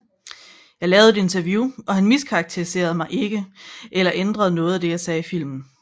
Jeg lavede et interview og han miskarakteriserede mig ikke eller ændrede noget af det jeg sagde i filmen